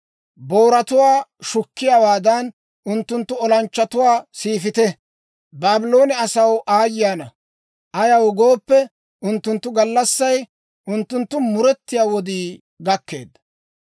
Booratuwaa shukkiyaawaadan, unttunttu olanchchatuwaa siifite! Baabloone asaw aayye ana! Ayaw gooppe, unttunttu gallassay, unttunttu muretiyaa wodii gakkeedda.